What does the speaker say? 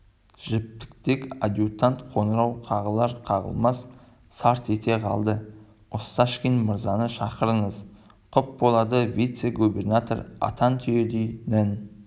жіптіктей адъютант қоңырау қағылар-қағылмас сарт ете қалды осташкин мырзаны шақырыңыз құп болады вице-губернатор атан түйедей нән